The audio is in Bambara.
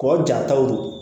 Kɔ jataw don